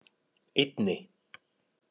einni